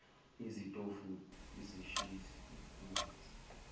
izitofu izishisisi manzi